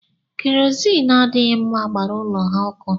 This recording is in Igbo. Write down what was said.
Kerozini adịghị mma gbara ụlọ ha ọkụ